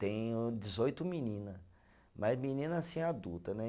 Tenho dezoito menina, mas menina assim, adulta, né?